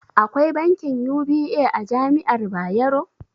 Akwai bankin UBA a jami'ar Bayero?